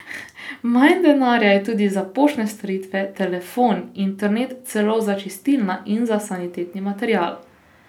Manj denarja je tudi za poštne storitve, telefon, internet, celo za čistila in za sanitetni material.